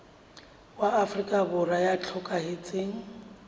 wa afrika borwa ya hlokahetseng